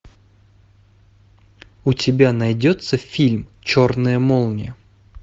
у тебя найдется фильм черная молния